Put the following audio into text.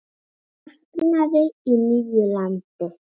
Vaknaði í nýju landi.